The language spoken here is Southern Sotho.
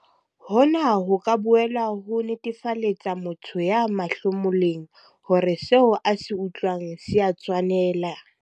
Hona ho ka boela ho netefaletsa motho ya mahlomoleng hore seo a se utlwang se a tshwanela.